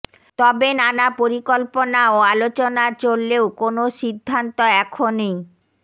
তবে নানা পরিকল্পনা ও আলোচনা চললেও কোনো সিদ্ধান্ত এখনই